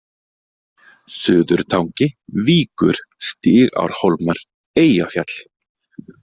Suðurtangi, Víkur, Stigárhólmar, Eyjafjall